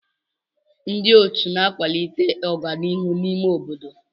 Ndị otu na-akwalite ọganihu n'ime obodo.